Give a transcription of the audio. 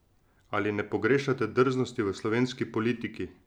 Ali ne pogrešate drznosti v slovenski politiki?